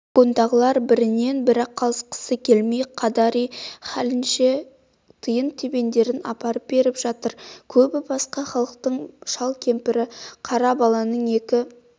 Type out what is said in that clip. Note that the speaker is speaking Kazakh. вагондағылар бірінен-бірі қалысқысы келмей қадари-хәлінше тиын-тебендерін апарып беріп жатыр көбі басқа халықтың шал-кемпір қара баланың екі